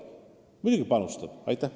Muidugi me panustame!